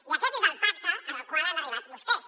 i aquest és el pacte al qual han arribat vostès